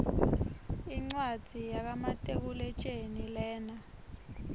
incwadzi yaka matekuletjelii lena